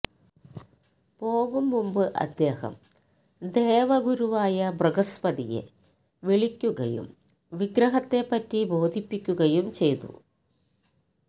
പോകും മുമ്പ് അദ്ദേഹം ദേവഗുരുവായ ബൃഹസ്പതിയെ വിളിയ്ക്കുകയും വിഗ്രഹത്തെപ്പറ്റി ബോധിപ്പിയ്ക്കുകയും ചെയ്തു